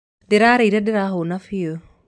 ndĩrarĩire ndĩrahũna biũ.